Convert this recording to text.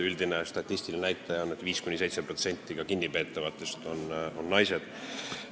Üldine statistiline näitaja on, et kinnipeetavatest on naisi 5–7%.